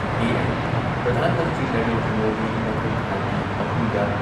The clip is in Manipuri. ꯄꯤ.ꯑꯦꯝ. ꯄ꯭ꯔꯙꯥꯟ ꯃꯟꯇ꯭ꯔꯤ ꯅꯔꯦꯟꯗ꯭ꯔ ꯃꯣꯗꯤ ꯃꯊꯪ ꯊꯥꯒꯤ ꯑꯍꯨꯝꯗ